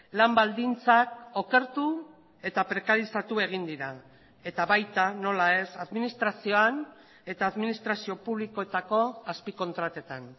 lan baldintzak okertu eta prekarizatu egin dira eta baita nola ez administrazioan eta administrazio publikoetako azpikontratetan